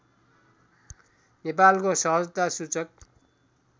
नेपालको सहजता सूचक